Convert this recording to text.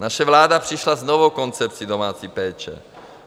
Naše vláda přišla s novou koncepcí domácí péče.